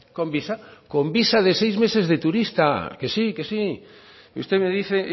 con visa con visa de seis meses de turista que sí que sí y usted me dice